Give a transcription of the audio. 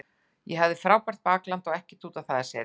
Ég hafði frábært bakland og ekkert út á það að setja.